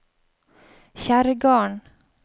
Kjerrgarden